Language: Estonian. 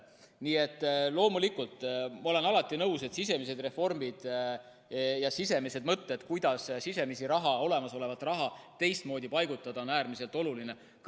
Nii et loomulikult, ma olen alati nõus, et sisemised reformid ja mõtted, kuidas olemasolevat raha teistmoodi paigutada, on äärmiselt olulised.